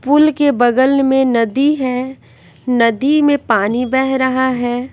फूल के बगल में नदी है नदी में पानी बह रहा है।